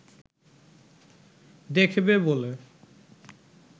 দেখবে বলে